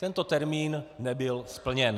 Tento termín nebyl splněn.